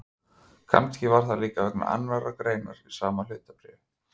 Kannski var það líka vegna annarrar greinar í sama fréttabréfi.